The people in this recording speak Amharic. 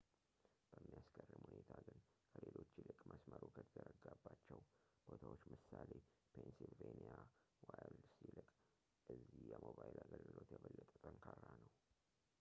በሚያስገርም ሁኔታ ግን ከሌሎች ይልቅ መሥመሩ ከተዘረጋባቸው ቦታዎች ለምሳሌ ፔንስይልቫኒያ ዋይልድስ ይልቅ እዚህ የሞባይል አገልግሎት የበለጠ ጠንካራ ነው